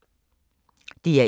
DR1